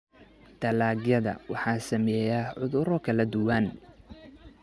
Dalagyada waxaa saameeya cudurro kala duwan.